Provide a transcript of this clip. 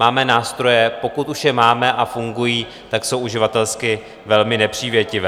Máme nástroje, pokud už je máme a fungují, tak jsou uživatelsky velmi nepřívětivé.